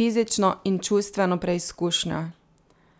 fizično in čustveno preizkušnjo.